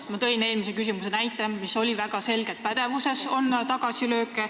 Ma tõin eelmises küsimuses näite, mis oli väga selge – pädevuses on tagasilööke.